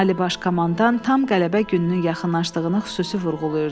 Ali Baş Komandan tam qələbə gününün yaxınlaşdığını xüsusi vurğulayırdı.